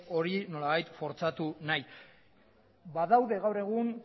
hori nolabait fortzatu nahi badaude gaur egun